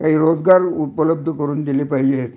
करिता काही रोजगार उपलब्ध करून दिले पाहिजे